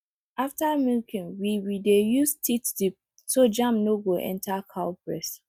after milking we we dey use teat dip so germ no go enter cow breast